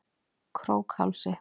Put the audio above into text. Krókhálsi